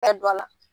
Ka don a la